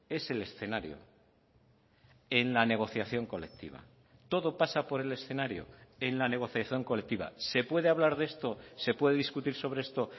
es el escenario en la negociación colectiva todo pasa por el escenario en la negociación colectiva se puede hablar de esto se puede discutir sobre esto